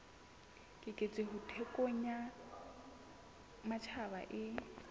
keketseho thekong ya matjhaba e